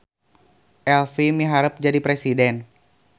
Elfi miharep jadi presiden